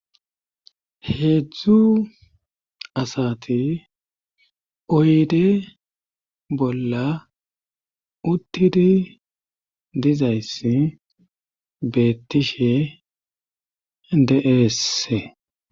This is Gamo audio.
Heedzdzu asati oyde bolla uttidi dizayssi beettishe de'eese.